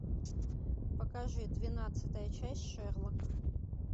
покажи двенадцатая часть шерлок